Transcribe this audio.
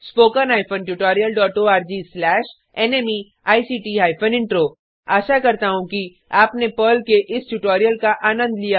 httpspoken tutorialorgNMEICT Intro आशा करता हूँ कि आपने पर्ल के इस ट्यूटोरियल का आनंद लिया होगा